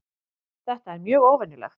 Þetta er mjög óvenjulegt